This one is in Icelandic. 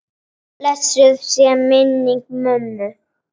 Blessuð sé minning mömmu.